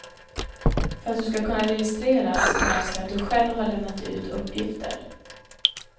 För att du skall kunna registreras krävs det att du själv har lämnat ut uppgifter.